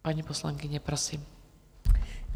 Paní poslankyně, prosím.